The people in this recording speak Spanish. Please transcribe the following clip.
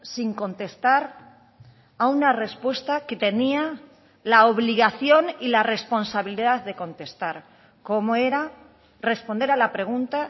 sin contestar a una respuesta que tenía la obligación y la responsabilidad de contestar como era responder a la pregunta